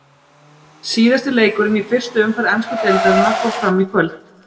Síðasti leikurinn í fyrstu umferð ensku deildarinnar fór fram í kvöld.